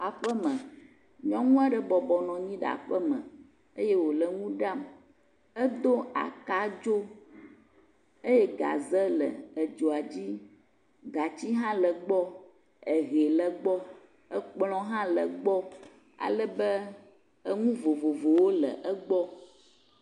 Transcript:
Aƒeme, nyɔnu aɖe bɔbɔnɔ anyi ɖe aƒe me, edo aka dzo eye gaze le edzoa dzi gatsi hã le egbɔ, ekplɔ hã le egbɔ ehe hã le egbɔ ale bɔ enu vovovowo hã le egbɔ.